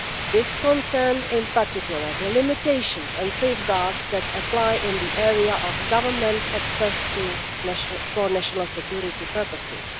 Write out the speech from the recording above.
This concerns in particular the limitations and safeguards that apply in the area of government access for national security purposes.